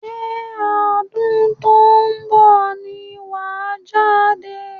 Ṣé ọdún tó ń bọ̀ ni wàá jáde?